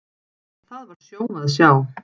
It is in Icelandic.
Það var sjón að sjá.